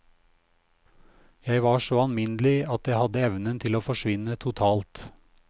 Jeg var så alminnelig at jeg hadde evnen til å forsvinne totalt.